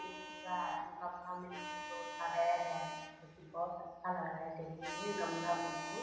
ये पूरा गमला में फूल-उल लगाया गया है जो कि बहुत अच्छा लग रहा है देखने में गमला में फूल।